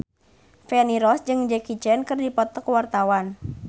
Feni Rose jeung Jackie Chan keur dipoto ku wartawan